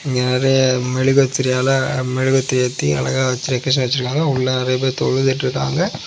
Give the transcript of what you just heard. இங்க நிறைய மெழுகு திரியால மெழுகுவத்தி ஏத்தி அழகா டெக்கரேஷன் வச்சிருக்காங்க உள்ள நிறைய பேர் தொழுதுட்ருக்காங்க.